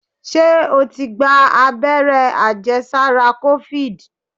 Ṣé o ti gba agbẹ́rẹ́ àjẹ sára ti kofid?